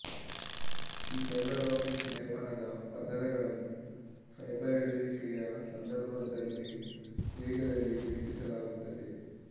ಈ fibre optics ಲೇಪನದ ಪದರಗಳನ್ನು ಫೈಬರ್ ಎಳೆಯುವಿಕೆಯ ಸಂದರ್ಭದಲ್ಲಿ ರ ವೇಗದಲ್ಲಿ ಲೇಪಿಸಲಾಗುತ್ತದೆ